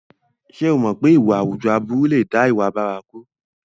Ṣé o mọ̀ pé ìwà àwùjọ aburú lè dá ìwà bárakú?